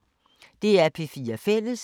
DR P4 Fælles